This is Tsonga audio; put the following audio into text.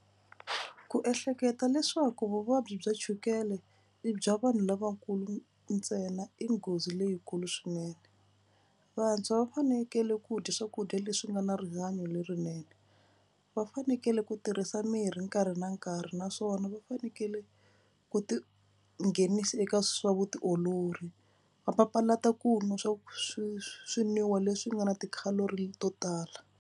Ku ehleketa leswaku vuvabyi bya chukele i bya vanhu lavakulu ntsena i nghozi leyikulu swinene. Vantshwa va fanekele ku dya swakudya leswi nga na rihanyo lerinene. Va fanekele ku tirhisa mirhi nkarhi na nkarhi naswona va fanekele ku tinghenisa eka swa vutiolori va papalata ku nwa swa swi swinwiwa leswi nga na ti-calorie to tala.